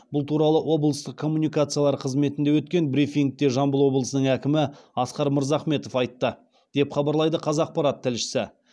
бұл туралы орталық коммуникациялар қызметінде өткен брифингте жамбыл облысының әкімі асқар мырзахметов айтты деп хабарлайды қазақпарат тілшісі